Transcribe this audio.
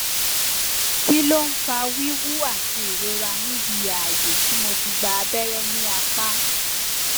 kih ló ń fa wíwú àti ìrora níbi ààyè tí mo ti gba abẹrẹ ní apá